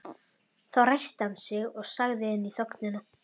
Þá ræskti hann sig og sagði inn í þögnina